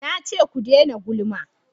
Na ce ku dena gulma!